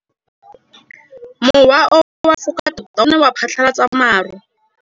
Mowa o wa go foka tota o ne wa phatlalatsa maru.